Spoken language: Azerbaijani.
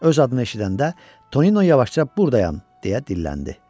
Öz adını eşidəndə Tonino yavaşca "Buradayam" deyə dilləndi.